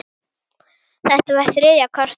Þetta var þriðja kortið.